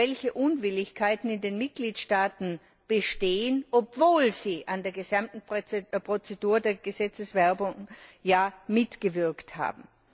welche Unwilligkeiten in den Mitgliedstaaten bestehen, obwohl sie an der gesamten Prozedur der Gesetzeswerdung ja mitgewirkt haben.